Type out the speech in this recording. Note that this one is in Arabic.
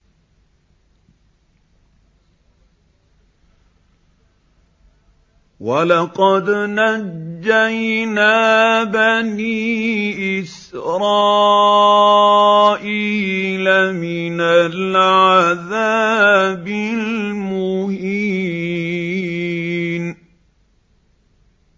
وَلَقَدْ نَجَّيْنَا بَنِي إِسْرَائِيلَ مِنَ الْعَذَابِ الْمُهِينِ